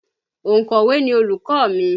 Ònkọ̀wé ni olùkọ́ mi